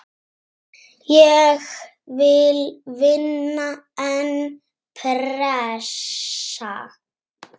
Ég vil vinna, en pressa?